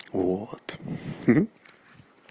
вот